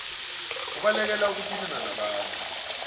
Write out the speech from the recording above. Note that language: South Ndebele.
ubalekele ukuthintana nabantu